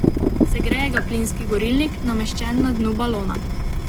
Segreje ga plinski gorilnik, nameščen na dnu balona.